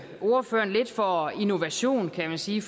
ordføreren lidt for innovation kan man sige